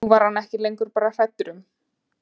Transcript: Nú var hann ekki lengur bara hræddur um